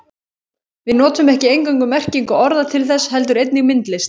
Við notum ekki eingöngu merkingu orða til þess heldur einnig myndlist.